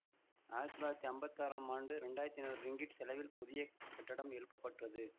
ஆயிரத்தி தொள்ளாயிரத்தி அம்பத்தி ஆறாம் ஆண்டு இரண்டாயிரத்தி ஐநூறு ரிங்கிட் செலவில் புதிய கட்டடம் எழுப்ப பட்டது